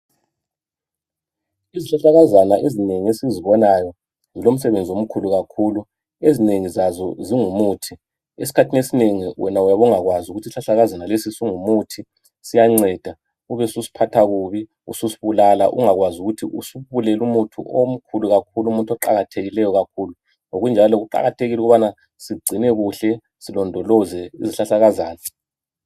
Izihlahlakazana ezinengi esizibonayo zilomsebenzi omkhulu kakhulu. Ezinengi zazo zingumuthi. Esikhathini esinengi wena uyabe ungakwazi ukuthi isihlahlakazana lesi singumuthi, siyanceda, ubesusiphatha kubi ususibulala ungakwazi ukuthi usubulele umuthi omkhulu kakhulu, umuthi oqakathekileyo kakhulu. Ngokunjalo kuqakathekile ukubana sigcine kuhle, silondoloze izihlahlakazana.